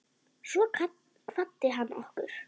Svo kvaddi hann okkur.